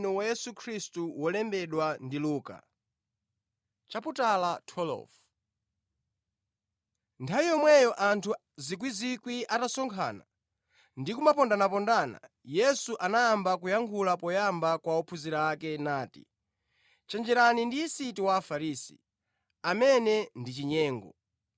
Nthawi yomweyo, anthu miyandamiyanda atasonkhana, ndi kumapondanapondana, Yesu anayamba kuyankhula poyamba kwa ophunzira ake, nati, “Chenjereni ndi yisiti wa Afarisi, amene ndi chinyengo.